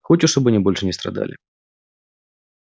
хочешь чтобы они больше не страдали